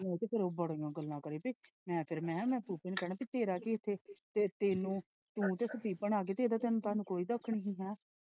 ਤੇ ਉਹ ਬੜੀਆਂ ਗੱਲਾਂ ਕਰੇ ਮੈਂ ਫੇਰ ਮੈਂ ਕਹਿਆ ਨੂੰ ਕਹਿਣਾ ਕੀ ਤੇਰਾ ਕਿ ਇੱਥੇ ਤੇ ਤੈਨੂੰ ਤੁਹਾਨੂੰ ਕੋਈ ਦੁੱਖ ਨਹੀਂ ਸੀ।